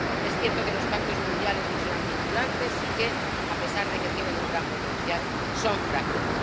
Es cierto que los pactos mundiales no serán vinculantes y que, a pesar de que tienen un gran potencial, son frágiles